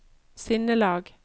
sinnelag